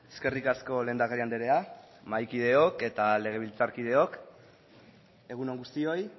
eskerrik asko lehendakari andrea mahaikideok eta legebiltzarkideok egun on guztioi